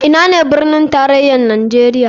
Ina ne birnin tarayar nijeria?